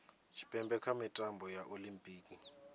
tshipembe kha mitambo ya olimpiki